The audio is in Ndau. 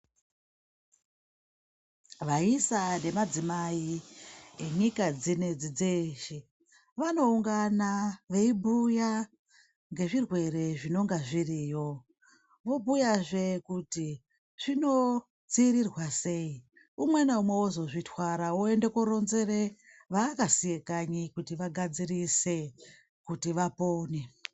Vaisa nevadzimai venyika dzinedzi dzeshe vanoungana veibhuya ngezvirwere zvinonga zviriyo, vobhuyazve kuti zvinodziirirwa sei, umwe naumwe ozozvitwara oende koronzere vaakasiye kanyi kuti vagadzirise kuti vapone.